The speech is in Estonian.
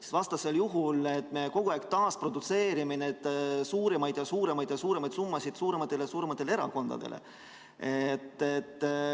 Sest vastasel juhul me kogu aeg taasprodutseerime suuremaid ja suuremaid summasid suurematele erakondadele.